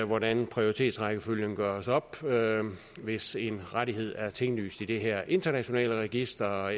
hvordan prioritetsrækkefølgen gøres op hvis én rettighed er tinglyst i det her internationale register